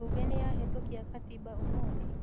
Mbunge nĩyahetũkia gatiba ũmũthĩ?